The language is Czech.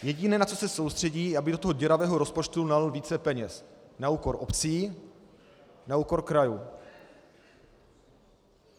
Jediné, na co se soustředí, aby do toho děravého rozpočtu nalil více peněz na úkor obcí, na úkor krajů.